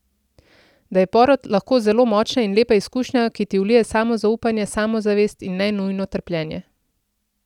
Da je porod lahko zelo močna in lepa izkušnja, ki ti vlije samozaupanje, samozavest, in ne nujno trpljenje.